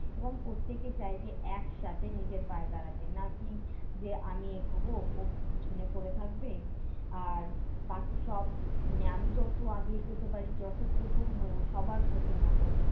এবং প্রত্যেকে চায় যে একসাথে নিজের পায়ে দাঁড়াতে। না-কি যে, আমি এগোবো ও পিছনে পড়ে থাকবে। আর বাকি সব মানে আমি যত আগে এগোতে পারি যত প্রথম হবো সবার প্রথম হবো